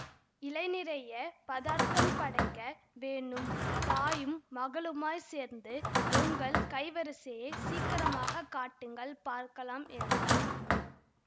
இலை நிறைய பதார்த்தம் படைக்க வேணும் தாயும் மகளுமாய்ச் சேர்ந்து உங்கள் கைவரிசையைச் சீக்கிரமாகக் காட்டுங்கள் பார்க்கலாம் என்றார்